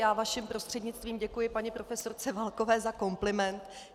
Já vaším prostřednictvím děkuji paní profesorce Válkové za kompliment.